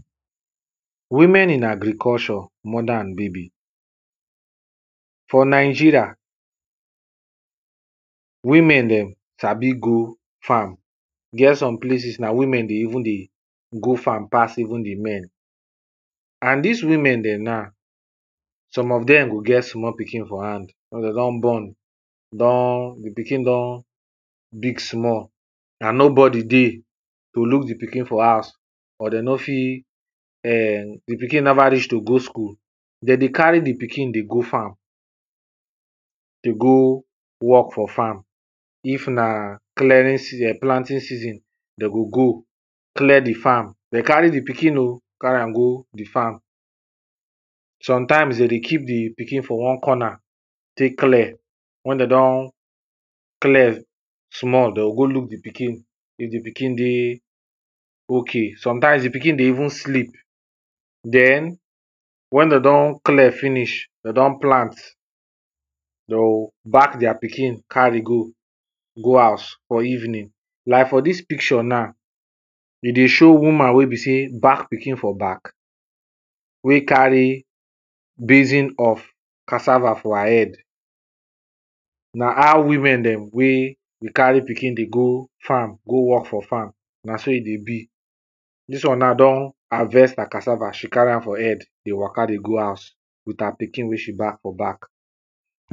women in agriculture, mother and baby. for nigeria, women dem sabi go farm, e get some places na women de even dey, go farm pass even the men. and dis women dem na, some of dem go get small pikin for hand wen de don born, don, the pikin don big small and nobody dey to look the pikin for house, or de no fit err the pikin never reach to go school, de dey carry the pikin dey go farm, dey go work for farm, if na, clearing season, planting season de go go, clear the farm, de carry the pikin o, carry am go, the farm. sometimes de dey keep the pikin for one corner tek clear wen de don, clear small de o go look the pikin if the pikin dey ok. sometimes the pikin dey even sleep. den, wen de don clear finish, de don plant de o, back deir pikin, carry go, go house for evening, like for dis picture na, de dey show woman, wey be sey back pikin for back, wey carry basin of cassava for her head. na how women dem wey, e carry pikin dey go farm, go work for farm na so e dey be. dis one na don harvest her cassava she carry am for head dey waka dey go house with her pikin wey she back for back.